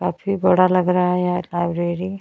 काफी बड़ा लग रहा है यार लाइब्रेरी --